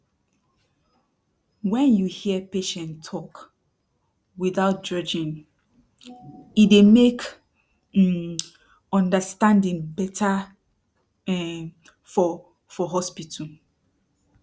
wen you hear patient talk without judging e dey mek um understanding beta um for for hospital